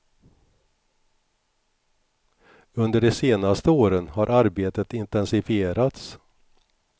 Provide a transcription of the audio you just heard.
Under de senaste åren har arbetet intensifierats.